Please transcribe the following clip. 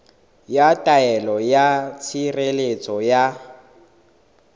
ya taelo ya tshireletso ya